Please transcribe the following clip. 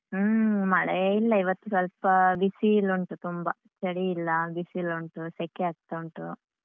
ಹ್ಮ್ ಮಳೆ ಇಲ್ಲ ಇವತ್ತು ಸ್ವಲ್ಪ ಬಿಸಿಲು ಉಂಟು ತುಂಬಾ ಚಳಿ ಇಲ್ಲ, ಬಿಸಿಲು ಉಂಟು, ಸೆಕೆ ಆಗ್ತಾ ಉಂಟು.